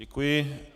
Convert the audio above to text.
Děkuji.